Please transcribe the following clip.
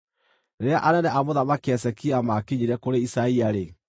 Rĩrĩa anene a Mũthamaki Hezekia maakinyire kũrĩ Isaia-rĩ,